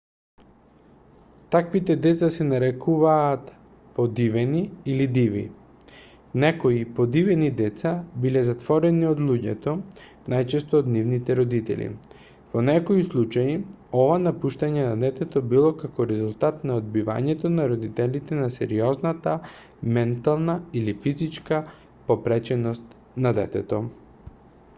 таквите деца се нарекуваат подивени или диви. некои подивени деца биле затворени од луѓето најчесто од нивните родители; во некои случаи ова напуштање на детето било како резултат на одбивањето на родителите на сериозната ментална или физичка попреченост на детето